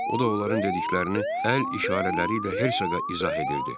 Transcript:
O da onların dediklərini əl işarələri ilə Hersoqa izah edirdi.